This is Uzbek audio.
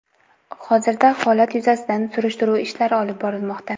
Hozirda holat yuzasidan surishtiruv ishlari olib borilmoqda.